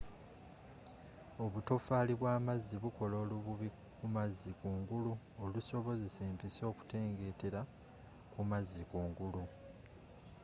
obutofaali bw'amazzi bukola olububi kumazzi kungulu olusobozesa empiso okutengeetera kumazzi kungulu